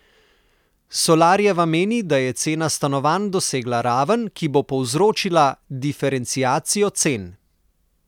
Solarjeva meni, da je cena stanovanj dosegla raven, ki bo povzročila diferenciacijo cen.